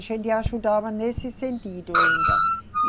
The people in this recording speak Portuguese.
A gente ajudava nesse sentido ainda.